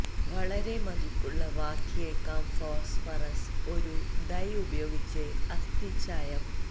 വളരെ മതിപ്പുള്ളവാക്കിയേക്കാം ഫോസ്ഫറസ് ഒരു ഡൈ ഉപയോഗിച്ച് അസ്ഥി ചായം